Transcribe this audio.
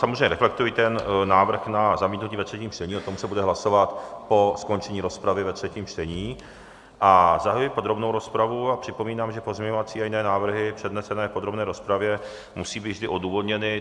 Samozřejmě reflektuji ten návrh na zamítnutí ve třetím čtení, o tom se bude hlasovat po skončení rozpravy ve třetím čtení, a zahajuji podrobnou rozpravu a připomínám, že pozměňovací a jiné návrhy přednesené v podrobné rozpravě musí být vždy odůvodněny.